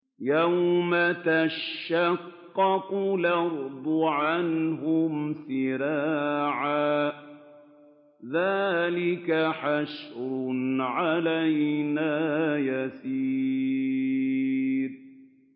يَوْمَ تَشَقَّقُ الْأَرْضُ عَنْهُمْ سِرَاعًا ۚ ذَٰلِكَ حَشْرٌ عَلَيْنَا يَسِيرٌ